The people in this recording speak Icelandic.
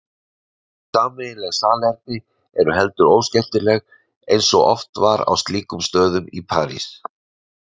En sameiginleg salerni eru heldur óskemmtileg eins og oft var á slíkum stöðum í París.